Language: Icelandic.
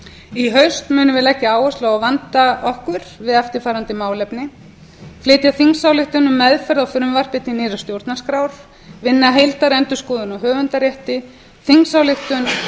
í haust munum við leggja áherslu á að vanda okkur við eftirfarandi málefni flytja þingsályktun um meðferð á frumvarpi til nýrrar stjórnarskrár vinna að heildarendurskoðun á höfundarétti þingsályktun